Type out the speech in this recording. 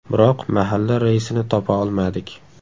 Biroq mahalla raisini topa olmadik.